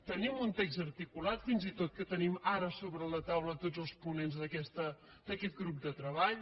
tenim un text articulat fins i tot que tenim ara sobre la taula tots els ponents d’aquest grup de treball